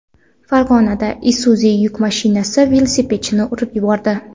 Farg‘onada Isuzu yuk mashinasi velosipedchini urib yubordi.